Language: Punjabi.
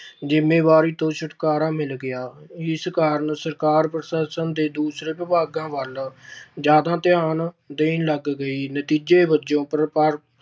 ਜ਼ਿੰਮੇਵਾਰੀ ਤੋਂ ਛੁਟਕਾਰਾ ਮਿਲ ਗਿਆ, ਇਸ ਕਾਰਨ ਸਰਕਾਰ ਪ੍ਰਸ਼ਾਸ਼ਨ ਦੇ ਦੂਸਰੇ ਵਿਭਾਗਾਂ ਵੱਲ ਜ਼ਿਆਦਾ ਧਿਆਨ ਦੇਣ ਲੱਗ ਗਈ ਨਤੀਜੇ ਵਜੋਂ